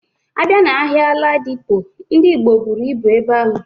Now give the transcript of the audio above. Abia na ahia Ladipo, Ndi Igbo buru ibu ebe ahu.